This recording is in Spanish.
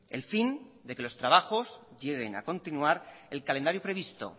el fin de que los trabajos lleguen a continuar el calendario previsto